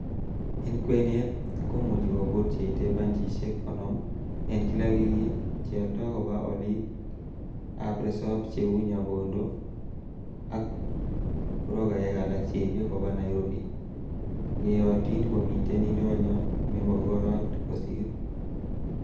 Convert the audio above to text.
En kwenet, komuche kobut cheite banchisiek konoom en kila wikit, cheoldo koba olik ab resop cheu Nyabondo ak brokaek alak cheibe koba Nairobi, yeyotin komiten indonyo nemogorot kosir.